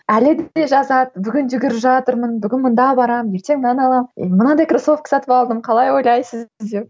әлі күнге жазады бүгін жүгіріп жатырмын бүгін мында барамын ертең мынаны аламын мынандай кроссовки сатып алдым қалай ойлайсыз деп